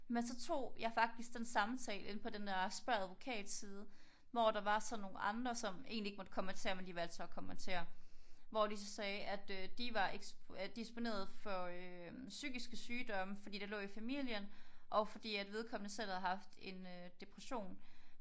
Men så tog jeg faktisk en samtale inde på den der spørg advokat side hvor der var sådan nogle andre som egentlig ikke måtte kommentere men de valgte så at kommentere. Hvor de så sagde at de var disponeret for psykiske sygdomme fordi det lå i familien og fordi vedkommende selv havde haft en depression